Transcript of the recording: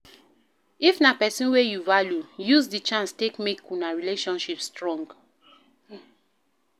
If na person wey you value, use di chance take make una relationship strong